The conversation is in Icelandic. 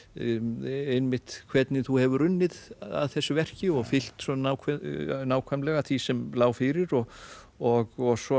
einmitt hvernig þú hefur unnið að þessu verki og fylgt svo nákvæmlega nákvæmlega því sem lá fyrir og og svo